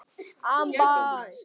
Taka við?